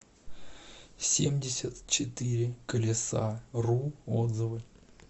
семьдесят четыре колесару отзывы